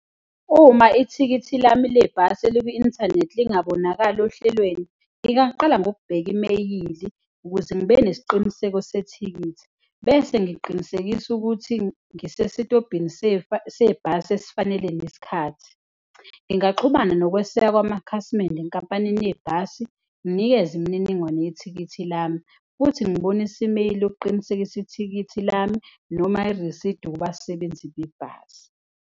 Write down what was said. Uma ithikithi lami lebhasi elikwi-inthanethi lingabonakali ohlelweni, ngingaqala ngokubheka imeyili ukuze ngibe nesiqiniseko sethikithi bese ngiqinisekisa ukuthi ngisesitobhini sebhasi esifanele nesikhathi. Ngingaxhumana nokweseka kwamakhasimende enkampanini yebhasi, nginikeze imininingwane yethikithi lami futhi ngibonise imeyili okuqinisekisa ithikithi lami noma irisidi kubasebenzi bebhasi.